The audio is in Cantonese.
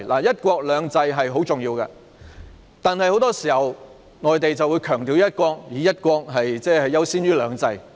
"一國兩制"十分重要，但很多時候，內地只強調"一國"，以"一國"優先於"兩制"。